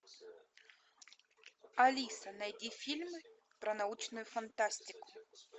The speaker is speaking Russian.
алиса найди фильмы про научную фантастику